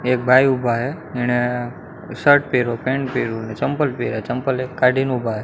એક ભાઇ ઊભા હે એણે શર્ટ પેરો પેન્ટ પેરો અને ચંપલ પેર્યા ચંપલ એક કાઢીને ઊભા હે.